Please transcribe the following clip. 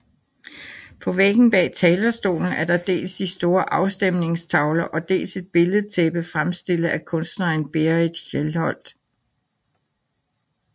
På væggen bag talerstolen er der dels de store afstemningstavler og dels et billedtæppe fremstillet af kunstneren Berit Hjelholt